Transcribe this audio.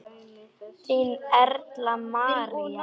Þín Erla María.